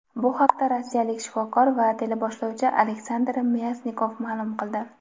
Bu haqda rossiyalik shifokor va teleboshlovchi Aleksandr Myasnikov ma’lum qildi.